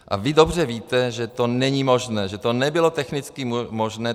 A vy dobře víte, že to není možné, že to nebylo technicky možné.